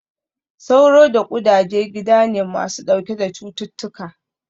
Sauro da ƙudaje gida ne masu ɗauke da cututtuka